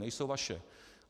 Nejsou vaše.